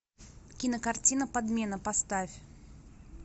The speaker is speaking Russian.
кинокартина подмена поставь